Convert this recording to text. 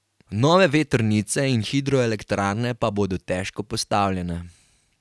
Nove vetrnice in hidroelektrarne pa bodo težko postavljene.